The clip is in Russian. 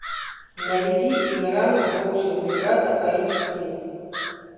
найди инран волчья бригада айч ди